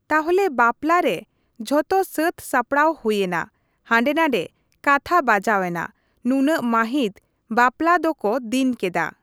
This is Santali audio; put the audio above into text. ᱛᱟᱦᱚᱞᱮ ᱵᱟᱯᱞᱟ ᱨᱮ ᱡᱷᱚᱛᱚ ᱥᱟᱹᱛ ᱥᱟᱯᱲᱟᱣ ᱦᱩᱭᱮᱱᱟ ᱦᱟᱸᱰᱮ ᱱᱟᱸᱰᱮ ᱠᱟᱛᱷᱟ ᱵᱟᱡᱟᱣ ᱮᱱᱟ ᱱᱩᱱᱟᱹᱜ ᱢᱟᱹᱦᱤᱛ ᱵᱟᱯᱞᱟ ᱫᱚ ᱠᱚ ᱫᱤᱱ ᱠᱮᱫᱟ ᱾